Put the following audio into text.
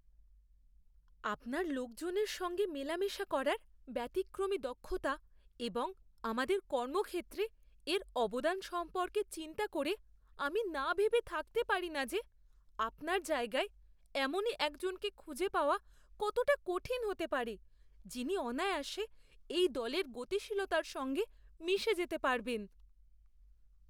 আপনার লোকজনের সঙ্গে মেলামেশা করার ব্যতিক্রমী দক্ষতা এবং আমাদের কর্মক্ষেত্রে এর অবদান সম্পর্কে চিন্তা করে, আমি না ভেবে থাকতে পারি না যে আপনার জায়গায় এমনই একজনকে খুঁজে পাওয়া কতটা কঠিন হতে পারে যিনি অনায়াসে এই দলের গতিশীলতার সঙ্গে মিশে যেতে পারবেন।